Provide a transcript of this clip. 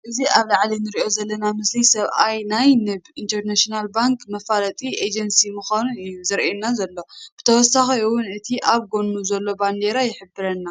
እዚ ኣብ ላዓሊ እንሪኦ ዘለና ምስሊ ሰብኣይ ናይ "ንብ ኢንተርናሽናል ባንክ"መፋለጢ ኤጀንሲ ምኻኑ እዩ ዘርኤና ዘሎ። ብተወሳኪ እውን እቲ ኣብ ጎኑ ዘሎ ባንዴራ ይሕብረና።